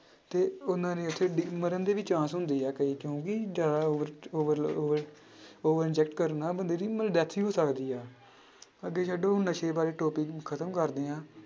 ਤੇ ਉਹਨਾਂ ਨੇ ਉੱਥੇ ਡਿ~ ਮਰਨ ਦੇ ਵੀ chance ਹੁੰਦੇ ਆ ਕਈ ਕਿਉਂਕਿ ਜ਼ਿਆਦਾ over over over inject ਕਰਨ ਨਾਲ ਬੰਦੇ ਦੀ ਮਤਲਬ death ਹੋ ਸਕਦੀ ਆ ਅੱਗੇ ਛੱਡੋ ਨਸ਼ੇ ਬਾਰੇ total ਖ਼ਤਮ ਕਰਦੇ ਹਾਂ।